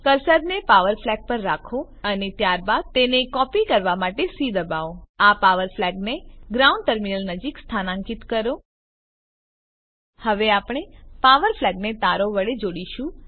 કર્સરને power flag પર રાખો અને ત્યારબાદ તેને કોપી કરવા માટે સી દબાવો આ પાવર ફ્લેગને ગ્રાઉન્ડ ટર્મિનલ નજીક સ્થાનાંકિત કરો હવે આપણે પાવર ફ્લેગને તારો વડે જોડીશું